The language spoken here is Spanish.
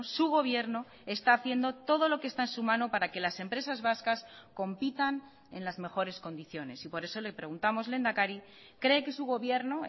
su gobierno está haciendo todo lo que está en su mano para que las empresas vascas compitan en las mejores condiciones y por eso le preguntamos lehendakari cree que su gobierno